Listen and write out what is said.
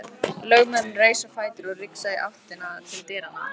Lögmaðurinn reis á fætur og rigsaði í áttina til dyranna.